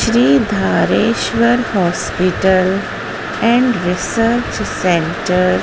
Shri Dhareshwar hospital and research centre --